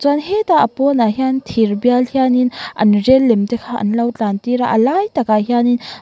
chuan hetah a pawn ah hian thir bial hian in an rel lem te kha anlo tlan tir a a lai tak ah hian in.